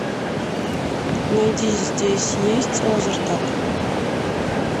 найди здесь есть лазертаг